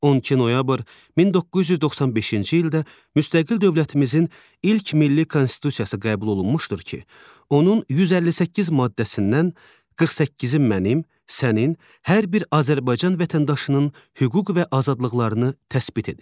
12 noyabr 1995-ci ildə müstəqil dövlətimizin ilk milli konstitusiyası qəbul olunmuşdur ki, onun 158 maddəsindən 48-i mənim, sənin, hər bir Azərbaycan vətəndaşının hüquq və azadlıqlarını təsbit edir.